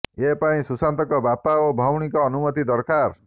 ଏ ପାଇଁ ସୁଶାନ୍ତଙ୍କ ବାପା ଓ ଭଉଣୀଙ୍କ ଅନୁମତି ଦରକାର